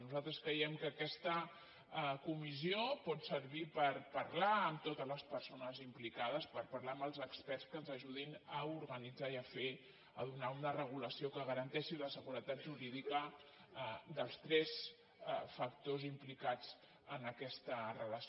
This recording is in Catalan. nosaltres creiem que aquesta comissió pot servir per parlar amb totes les persones implicades per parlar amb els experts que ens ajudin a organitzar i a fer a donar una regulació que garanteixi la seguretat jurídica dels tres factors implicats en aquesta relació